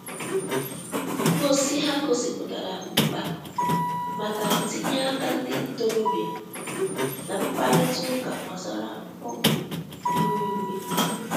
Ngosi ha gosipụtara mkpa maka ntinye aka ndi ntorobia na mkparịta uka gbasara mgbanwe ihu igwe.